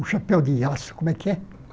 O chapéu de aço, como é que é?